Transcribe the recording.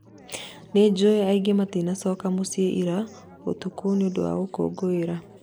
Nĩnjũĩ angĩ matinacoka mũciĩ ira ũtukũ nĩũndũ wa gũkũngũĩra.